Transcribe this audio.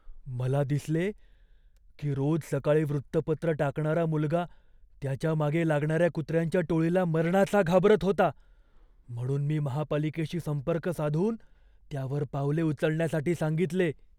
मला दिसले की रोज सकाळी वृत्तपत्र टाकणारा मुलगा त्याच्या मागे लागणार्या कुत्र्यांच्या टोळीला मरणाचा घाबरत होता. म्हणून मी महापालिकेशी संपर्क साधून त्यावर पावले उचलण्यासाठी सांगितले.